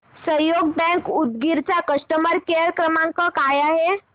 सहयोग बँक उदगीर चा customer care क्रमांक काय आहे